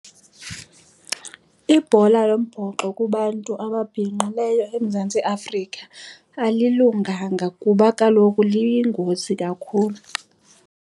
Ibhola yombhoxo kubantu ababhinqileyo eMzantsi Afrika alilunganga kuba kaloku liyingozi kakhulu.